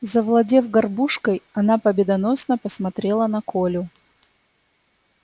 завладев горбушкой она победоносно посмотрела на колю